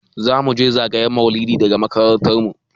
Za muje zagayen maulidi daga makarantar mu.